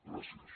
gràcies